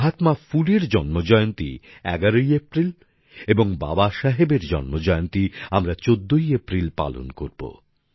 মহাত্মা ফুলের জন্ম জয়ন্তী ১১ই এপ্রিল এবং বাবাসাহেবের জন্মজয়ন্তী আমরা ১৪ই এপ্রিল পালন করব